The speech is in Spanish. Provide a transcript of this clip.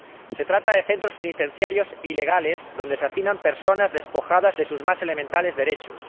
Se trata de centros penitenciarios ilegales donde se hacinan personas despojadas de sus más elementales derechos.